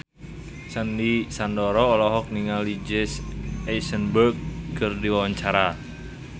Sandy Sandoro olohok ningali Jesse Eisenberg keur diwawancara